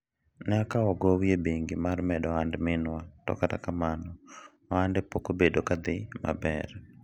en akawo gowi e bengi mar medo ohand minwa to kata kamano, ohande pok obedo ka dhi maber